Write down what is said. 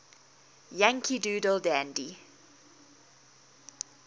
yankee doodle dandy